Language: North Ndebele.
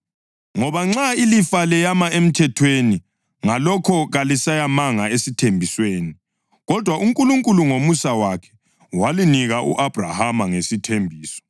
Ngoba nxa ilifa leyame emthethweni, ngalokho kaliseyamanga esithembisweni; kodwa uNkulunkulu ngomusa wakhe, walinika u-Abhrahama ngesithembiso.